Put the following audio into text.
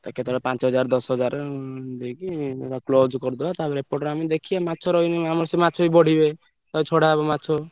ତ କେତବେଳେ ପାଞ୍ଚ ହଜାର ଦଶ ହଜାର ଦେଇକି ତାର close କରିଦବା ତାପରେ ଏପଟରେ ଆମେ ଦେଖିଆ ମାଛ ରହିଲେ ଆମର ସେ ମାଛବି ବଢିବେ। ତାପରେ ଛଡା ହବ ମାଛ।